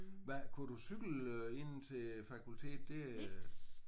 Hvad kunne du cykle øh ind til øh fakultetet? Det øh